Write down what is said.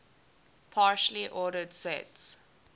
partially ordered sets